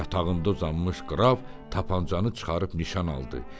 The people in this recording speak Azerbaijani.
Yatağında uzanmış Qraf tapançanı çıxarıb nişan aldı.